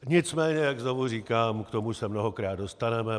Nicméně jak znovu říkám, k tomu se mnohokrát dostaneme.